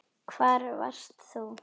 Hvar varst þú?